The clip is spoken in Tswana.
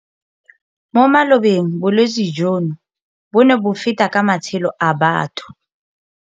Mo malobeng bolwetse jono bo ne bo feta ka matshelo a batho.